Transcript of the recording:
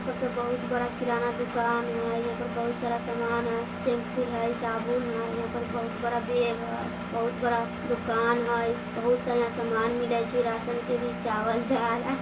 ऊपर ते बहुत बड़ा किराना दुकान हई इहां पर बहुत सारा सामान हई शैम्पुल हई साबुन हई इहां पर बहुत बड़ा बैग हई बहुत बड़ा दोकान हई बहुत सारा इहां सामान मिले छी राशन के भी चावल-दाल।